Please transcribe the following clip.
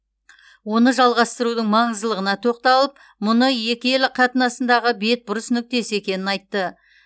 оны жалғастырудың маңыздылығына тоқталып мұны екі ел қатынасындағы бетбұрыс нүктесі екенін айтты